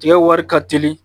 Tigɛ wari ka teli